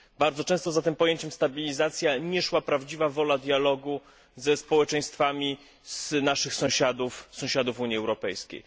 Bardzo często za tym pojęciem stabilizacja nie szła prawdziwa wola dialogu ze społeczeństwami naszych sąsiadów sąsiadów Unii Europejskiej.